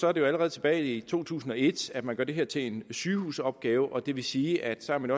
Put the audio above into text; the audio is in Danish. er det jo allerede tilbage i to tusind og et at man gør det her til en sygehusopgave og det vil sige at så er man